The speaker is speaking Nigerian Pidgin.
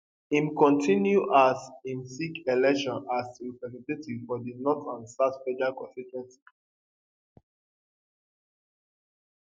im kontinu as im seek election as representative for di north and south federal constituency